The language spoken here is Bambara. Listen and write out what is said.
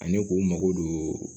Ani k'u mago don